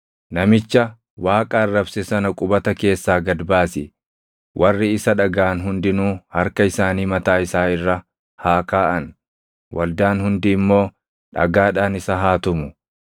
“Namicha Waaqa arrabse sana qubata keessaa gad baasi. Warri isa dhagaʼan hundinuu harka isaanii mataa isaa irra haa kaaʼan; waldaan hundi immoo dhagaadhaan isa haa tumu.